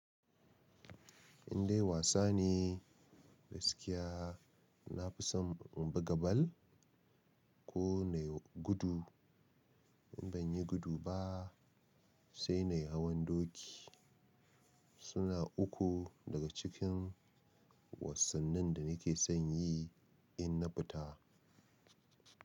Indai wasa ne gaskiya. Na fi son in buga ball ko nai gudu. In ban yi gudu ba sai na yi hawan doki. Su na uku daga cikin wasannin da ni ke son yi in na fita.